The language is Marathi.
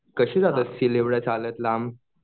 कसे जात असतील चालत एवढ्या लांब?